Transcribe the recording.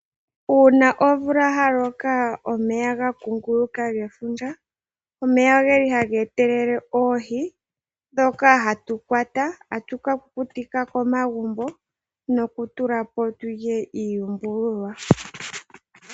Uuna omvula ya loka omeya ga kunguluka gefundja, omeya oge li haga etelele oohi ndhoka hatu kwata a tu ka kukutika komagumbo nokutula po tu lye iiyumbululwa.